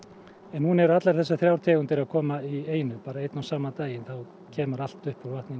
núna eru allar þessar þrjár tegundir að koma í einu bara einn og sama daginn kemur allt upp úr vatninu